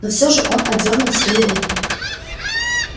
но всё же он отдёрнул свою руку